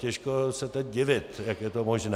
Těžko se teď divit, jak je to možné.